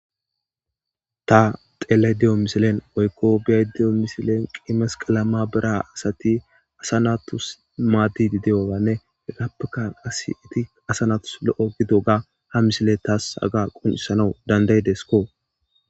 Ta xeellayddamisile woykko beyaydda diyo misiley issi masqala maabara asati asa naatus maaddiidi diyoganne hegappeka qasi eti asa naatus lo7o gididooga hamisiley tayyo qoncisiidde de7ees.